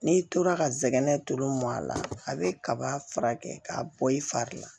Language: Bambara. N'i tora ka zɛgɛn tulu mɔn a la a bɛ kaba fura kɛ k'a bɔ i fari la